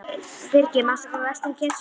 Grefur stokk upp úr skúffu frammi í eldhúsi.